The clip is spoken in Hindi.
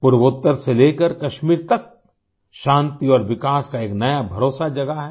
पूर्वोतर से लेकर कश्मीर तक शांति और विकास का एक नया भरोसा जगा है